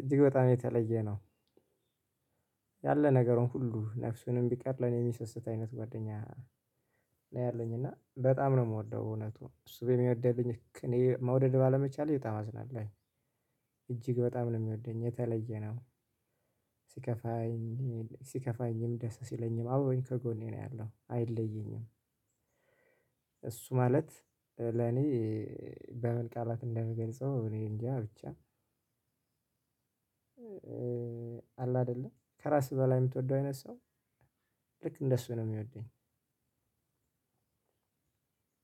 እጅግ በጣም የተለየ ነው። ያለ ነገር ሁሉ ነፍሱንም ቢቀር ለኔ የሚሰስት አይነት ጓደኛ። ነው ያለኝ እና በጣም ነው የምወደው እውነቱን እሱ በሚወደኝ ልክ እኔ መውደድ ባለመቻል በጣም አዝናለሁ። የተለየ ነው እጅግ በጣም ነው የሚወደኝ የተለየ ነው። ሲከፋኝ ሲከፋኝም ደስ ሲለኝም አብሮኝ ከጎኔ ነው ያለው አይለየኝም። እሱ ማለት ለኔ በምን ቃላት እንደምገልጸው እኔ እንጃ ብቻ። አለ አይደለ ከራስህ በላይ የምትወደው አይነት ሰው። ልክ እንደሱ ነው የሚወደኝ።